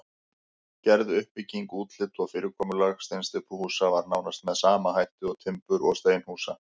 Gerð, uppbygging, útlit og fyrirkomulag steinsteypuhúsa var nánast með sama hætt og timbur- og steinhúsa.